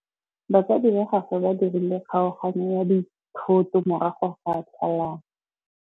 Batsadi ba gagwe ba dirile kgaoganyô ya dithoto morago ga tlhalanô.